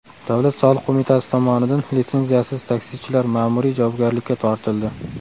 Davlat soliq qo‘mitasi tomonidan litsenziyasiz taksichilar ma’muriy javobgarlikka tortildi.